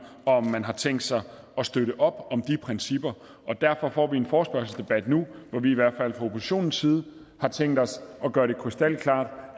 og om man har tænkt sig at støtte op om de principper og derfor får vi en forespørgselsdebat nu hvor vi i hvert fald fra oppositionens side har tænkt os at gøre det krystalklart